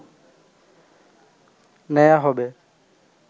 নেয়া হবে